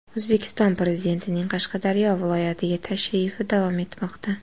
O‘zbekiston Prezidentining Qashqadaryo viloyatiga tashrifi davom etmoqda.